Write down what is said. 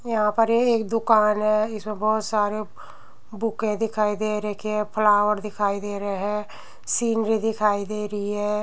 यहाँ पर एक दुकान है इस में बहोत सारे बुके दिखाई दे रखे हैं फ्लावर दिखाई दे रहे हैं सीनरी दिखाई दे रही है।